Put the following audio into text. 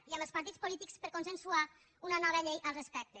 i amb els partits polítics per consensuar una nova llei al respecte